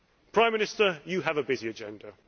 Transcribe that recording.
Prime Minister, you have a busy agenda.